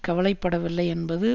கவலை படவில்லை என்பது